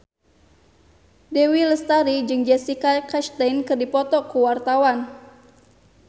Dewi Lestari jeung Jessica Chastain keur dipoto ku wartawan